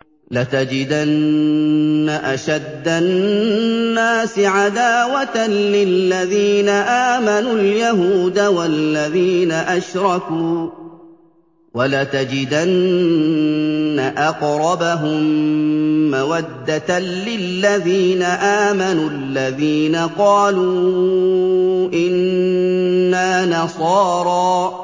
۞ لَتَجِدَنَّ أَشَدَّ النَّاسِ عَدَاوَةً لِّلَّذِينَ آمَنُوا الْيَهُودَ وَالَّذِينَ أَشْرَكُوا ۖ وَلَتَجِدَنَّ أَقْرَبَهُم مَّوَدَّةً لِّلَّذِينَ آمَنُوا الَّذِينَ قَالُوا إِنَّا نَصَارَىٰ ۚ